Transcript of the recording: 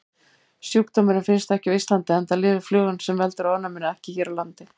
Sjúkdómurinn finnst ekki á Íslandi enda lifir flugan sem veldur ofnæminu ekki hér á landi.